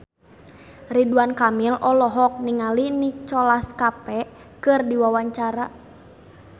Ridwan Kamil olohok ningali Nicholas Cafe keur diwawancara